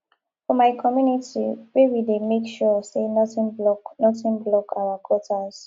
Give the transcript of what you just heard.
for my community we dey make sure sey nothing block nothing block our gutters